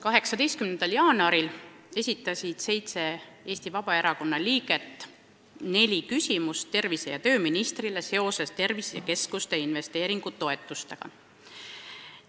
18. jaanuaril esitasid seitse Vabaerakonna liiget tervise- ja tööministrile neli küsimust tervisekeskuste investeeringutoetuste kohta.